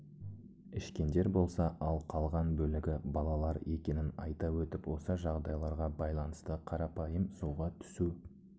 ішкендер болса ал қалған бөлігі балалар екенін айта өтіп осы жағдайларға байланысты қарапайым суға түсу